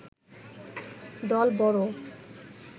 দল বড়